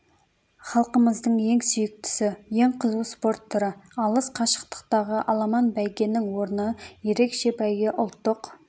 халқымыздың ең сүйіктісі ең қызу спорт түрі алыс қашықтықтағы аламан бәйгенің орны ерекше бәйге ұлттық